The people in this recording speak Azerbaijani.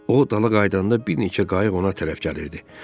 O dala qayıdanda bir neçə qayıq ona tərəf gəlirdi.